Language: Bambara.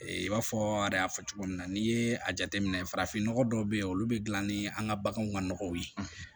I b'a fɔ de y'a fɔ cogo min na n'i ye a jateminɛ farafin nɔgɔ dɔw bɛ yen olu bɛ dilan ni an ka baganw ka nɔgɔw ye